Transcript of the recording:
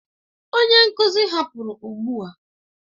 Onye nkuzi hapụrụ ugbu a.